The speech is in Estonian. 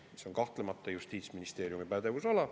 See on kahtlemata Justiitsministeeriumi pädevusala.